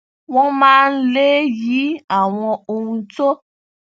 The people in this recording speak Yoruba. wọn máa ń lè yí àwọn ohun tó